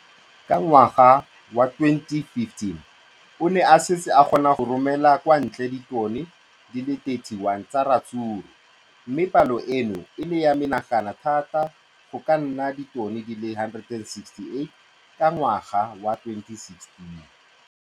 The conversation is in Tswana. Ka ngwaga wa 2015, o ne a setse a kgona go romela kwa ntle ditone di le 31 tsa ratsuru mme palo eno e ne ya menagana thata go ka nna ditone di le 168 ka ngwaga wa 2016.